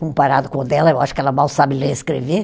Comparado com o dela, eu acho que ela mal sabe ler e escrever.